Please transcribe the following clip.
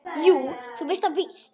Jú, þú veist það víst.